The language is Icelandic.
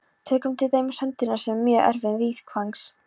Tökum til dæmis höndina, sem er mjög erfið viðfangs.